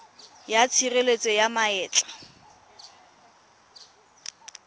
ya tshireletso ya ma etla